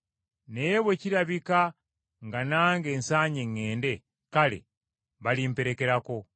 Naye bwe kirirabika nga nange nsaanye ŋŋende, kale balimperekerako.